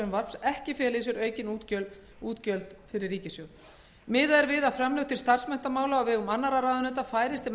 frumvarps ekki fela í sér aukin útgjöld fyrir ríkissjóð miðað er við að framlög til starfsmenntamála á vegum annarra ráðuneyta færist til